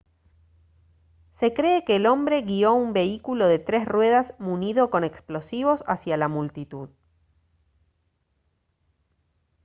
se cree que el hombre guio un vehículo de tres ruedas munido con explosivos hacia la multitud